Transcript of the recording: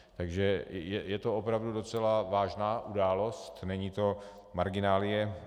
Takže je to opravdu docela vážná událost, není to marginálie.